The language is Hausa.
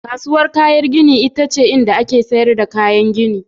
Kasuwar kayan gini ita ce inda ake sayar da kayan gini.